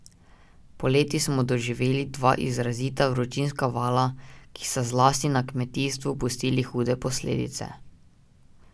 Poleti smo doživeli dva izrazita vročinska vala, ki sta zlasti na kmetijstvu pustili hude posledice.